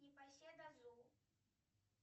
непоседа зу